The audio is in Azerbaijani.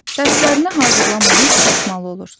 Dərslərini hazırlamamış yatmalı olursan.